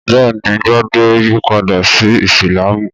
Bẹ́ẹ̀ ni, Gbadé yípadá sí Ìsìlámù.